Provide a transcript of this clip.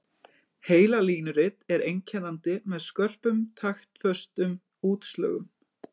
Heilalínurit er einkennandi með skörpum taktföstum útslögum.